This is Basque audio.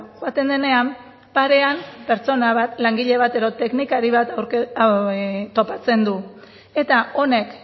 joaten denean parean pertsona bat langile bat edo teknikari bat topatzen du eta honek